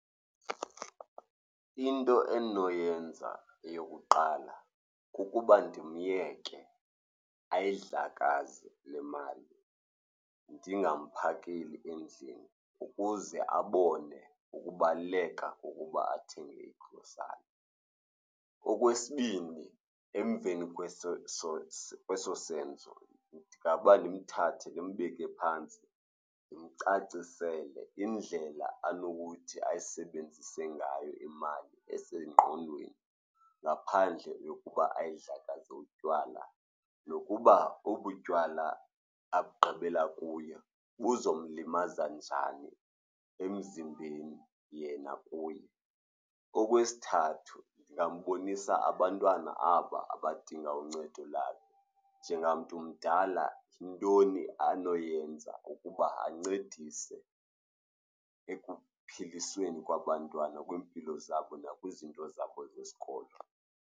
Into endinoyenza eyokuqala kukuba ndimyeke ayidlakaze le mali, ndingamphakeli endlini ukuze abone ukubaluleka kokuba athenge igrosari. Okwesibini, emveni kweso senzo ndingaba ndimthathe, ndimbeke phantsi, ndimcacisele indlela anokuthi ayisebenzise ngayo imali esengqondweni ngaphandle yokuba ayidlakaze utywala nokuba obu tywala abugqibela kuyo buzomlimaza njani emzimbeni yena kuye. Okwesithathu, ndingambonisa abantwana aba abadinga uncedo lakhe. Njengamntu umdala yintoni anoyenza ukuba ancedise ekuphilisweni kwabantwana kwiimpilo zabo nakwizinto zabo zesikolo?